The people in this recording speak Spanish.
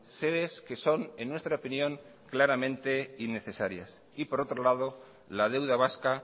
sedes que son en nuestra opinión claramente innecesarias y por otro lado la deuda vasca